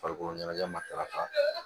Farikolo ɲɛnajɛ matarafa